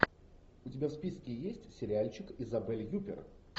у тебя в списке есть сериальчик изабель юппер